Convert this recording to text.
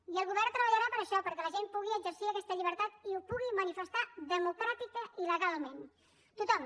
i el govern treballarà per a això perquè la gent pugui exercir aquesta llibertat i ho pugui manifestar democràticament i legalment tothom